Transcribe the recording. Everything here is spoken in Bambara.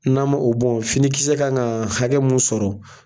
N'a ma o bɔn finikisɛ kan ka hakɛ mun sɔrɔ.